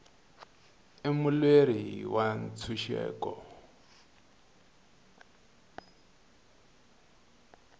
i mulweri wa ntshuxeko